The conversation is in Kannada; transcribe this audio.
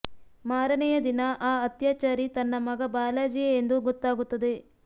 ಮಾರನೆಯ ದಿನ ಆ ಅತ್ಯಾಚಾರಿ ತನ್ನ ಮಗ ಬಾಲಾಜಿಯೇ ಎಂದು ಗೊತ್ತಾಗುತ್ತದೆ